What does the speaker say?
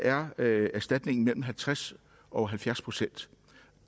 er er erstatningen mellem halvtreds og halvfjerds procent